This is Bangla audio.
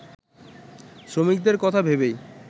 শ্রমিকদের কথা ভেবেই